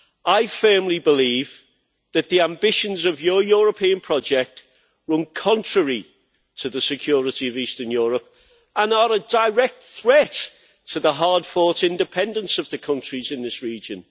I firmly believe that the ambitions of your European project run contrary to the security of Eastern Europe and are a direct threat to the hard fought independence of the countries in this region.